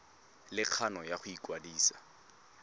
le kgano ya go ikwadisa